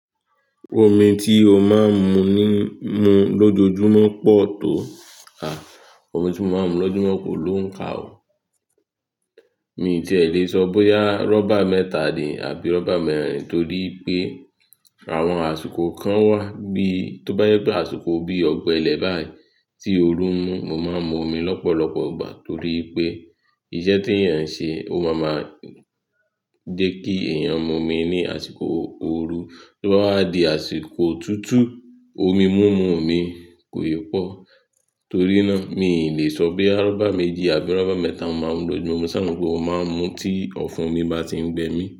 Omi tí o máa ń mu ní, mu lójoojúmọ́ pọ̀ tó, à, omi tí mo máa ń mu lójúmọ́ kò lóuńka ò. Mi i tíè lè sọ bóyá rọ́bà mẹ́ta ni àbí rọ́bà mẹ́rin torí pé àwọn àsìkò kan wà bíi, tó bá yẹ pé àsìkò bíi ọgbẹ́lẹ̀ báyìí tí òru ń mú, mo máa ń mu omi lọ́pọ̀lọpọ̀ ìgbà torí pé iṣẹ́ tèèyàn ń ṣe ó máa ma jẹ́ kí èèyàn mu omi ní àsìkò ooru. Tó bá wa di àsìkò otútù, omi múmu mi kò í pọ̀. Torí náà, mi i lè sọ boya rọ́bà méjì àbí rọ́bà mẹ́ta mo máa ń mu lójúmọ́, mo ṣàa mo pé mo máa n mú u tí ọ̀fun mi bá ti ń gbẹ mí.